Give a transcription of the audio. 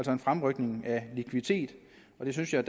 en fremrykning af likviditet og det synes jeg